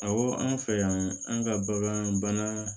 Awɔ an fɛ yan an ka bagan bana